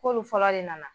K'olu fɔlɔ de nana